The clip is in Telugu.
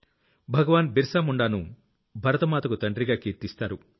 భగవాన్ బిరసా ముండ్ ను భరత మాతకు తండ్రిగా కీర్తిస్తారు